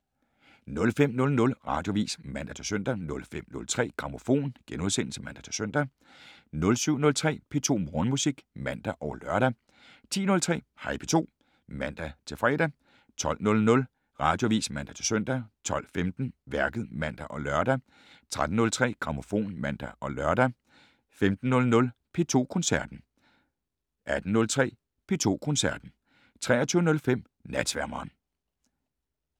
05:00: Radioavis (man-søn) 05:03: Grammofon *(man-søn) 07:03: P2 Morgenmusik (man og lør) 10:03: Hej P2 (man-fre) 12:00: Radioavis (man-søn) 12:15: Værket (man og lør) 13:03: Grammofon (man-lør) 15:00: P2 Koncerten 18:03: P2 Koncerten 23:05: Natsværmeren